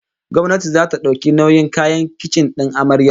Gwamnati zata dauki nauyin kayan kicin din amaren